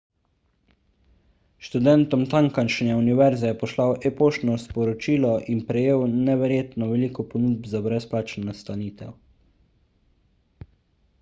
študentom tamkajšnje univerze je poslal e-poštno sporočilo in prejel neverjetno veliko ponudb za brezplačno nastanitev